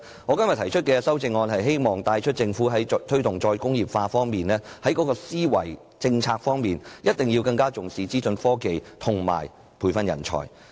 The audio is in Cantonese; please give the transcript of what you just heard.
我今天提出的修正案旨在帶出一個信息，就是政府在推動"再工業化"的政策思維時，必須更重視資訊科技和培訓人才。